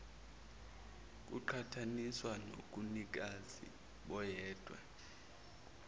kuqhathaniswa nobunikazi boyedwa